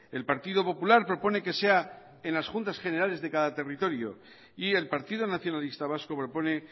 el partido popular propone que sea en las juntas generales de cada territorio y el partido nacionalista vasco propone